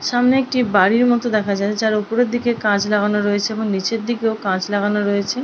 সামনে একটি বাড়ির মতো দেখা যাচ্ছে যার ওপরের দিকে কাঁচ লাগানো রয়েছে এবং নিচের দিকেও কাঁচ লাগানো রয়েছে।